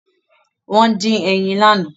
Wọ́n dín ẹyin lánàá.